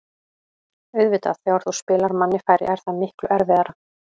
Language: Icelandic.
Auðvitað, þegar þú spilar manni færri er það miklu erfiðara.